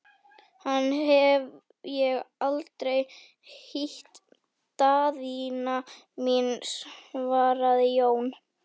Hann hef ég aldrei hýtt, Daðína mín, svaraði Jón.